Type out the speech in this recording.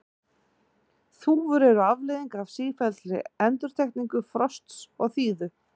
þúfur eru afleiðing af sífelldri endurtekningu frosts og þíðu